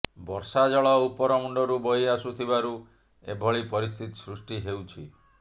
ବର୍ଷା ଜଳ ଉପର ମୁଣ୍ଡରୁ ବହି ଆସୁଥିବାରୁ ଏହିଭଳି ପରିସ୍ଥିତି ସୃଷ୍ଟି ହେଉଛି